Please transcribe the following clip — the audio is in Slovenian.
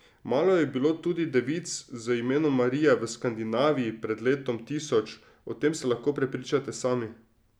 Malo je bilo tudi devic z imenom Marija v Skandinaviji pred letom tisoč, o tem se lahko prepričate sami.